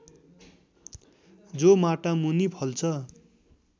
जो माटामुनि फल्छ